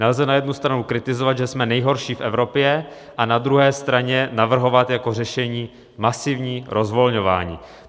Nelze na jednu stranu kritizovat, že jsme nejhorší v Evropě, a na druhé straně navrhovat jako řešení masivní rozvolňování.